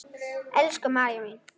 Elsku María mín.